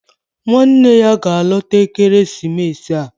Nwanne ya ga-alọta ekeresimesi a